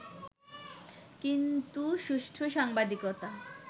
কিন্তু সুষ্ঠু সাংবাদিকতা